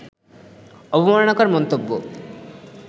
অবমাননাকর মন্তব্য